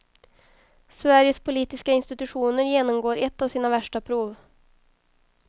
Sveriges politiska institutioner genomgår ett av sina värsta prov.